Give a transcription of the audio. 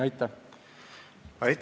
Aitäh!